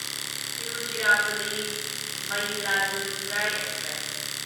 Tiruchirappalli Mayiladuthurai express